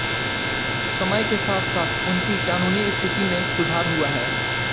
समय के साथसाथ उनकी कानूनी स्थिति में सुधार हुआ है